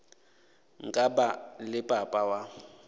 nka ba le papa wa